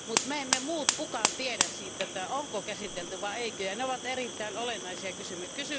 Mutta me emme muut kukaan tiedä siitä, onko käsitelty vai ei, ja ne ovat erittäin olennaisia kysymyksiä.